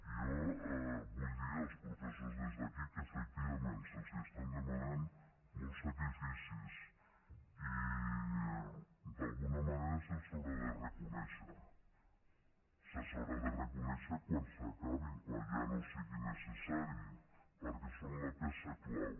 i jo vull dir als professors des d’aquí que efectivament se’ls estan demanant molts sacrificis i d’alguna manera se’ls haurà de reconèixer se’ls haurà de reconèixer quan s’acabi quan ja no sigui necessari perquè són la peça clau